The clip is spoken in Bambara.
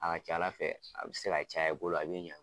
A ka ca Ala fɛ, a bɛ se ka caya i bolo. A bɛ ɲɛ.